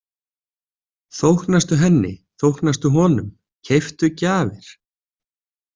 Þóknastu henni, þóknastu honum, keyptu gjafir.